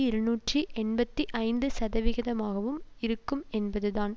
இருநூற்றி எண்பத்தி ஐந்து சதவிகிதமாகவும் இருக்கும் என்பதுதான்